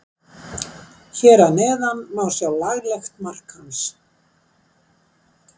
Hér að neðan má sjá laglegt mark hans.